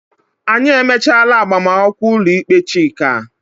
Anyị emechaala agbamakwụkwọ ụlọikpe Chika.